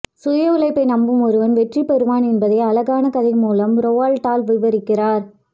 சுய உழைப்பை நம்பும் ஒருவன் வெற்றி பெறுவான் என்பதை அழகான கதை மூலம் ரொவால்ட் டால் விவரிக்கிறார்